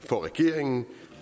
for regeringen